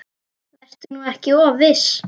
Vertu nú ekki of viss.